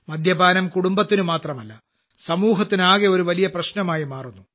മദ്യപാനം കുടുംബത്തിന് മാത്രമല്ല സമൂഹത്തിനാകെ ഒരു വലിയ പ്രശ്നമായി മാറുന്നു